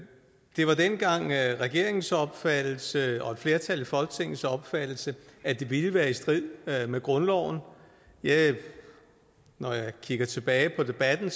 det var dengang regeringens opfattelse og et flertal i folketingets opfattelse at det ville være i strid med grundloven når jeg kigger tilbage på debatten